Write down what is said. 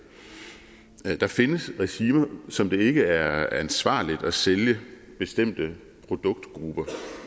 der findes regimer som det ikke er ansvarligt at sælge bestemte produktergrupper